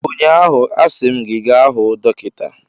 Ụnyaahụ, a sị m gị gaa hụ dọkịta!